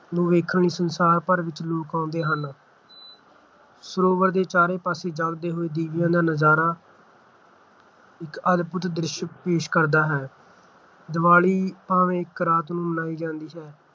ਨੂੰ ਵੇਖਣ ਲਈ ਸੰਸਾਰ ਭਰ ਵਿੱਚੋਂ ਲੋਕ ਆਉਂਦੇ ਹਨ ਸਰੋਵਰ ਦੇ ਚਾਰੋ ਪਾਸੇ ਜਗਦੇ ਹੋਏ ਦੀਵਿਆਂ ਦਾ ਨਜ਼ਾਰਾ ਇੱਕ ਅਦਭੁੱਤ ਦ੍ਰਿਸ਼ ਪੇਸ਼ ਕਰਦਾ ਹੈ। ਦੀਵਾਲੀ ਭਾਵੇਂ ਇਕ ਰਾਤ ਨੂੰ ਮਨਾਈ ਜਾਂਦੀ ਹੈ